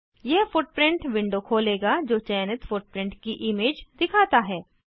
यह footprint window खोलेगा जो चयनित फुटप्रिंट की इमेज दिखाता है